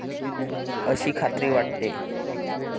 अशी खात्री वाटते.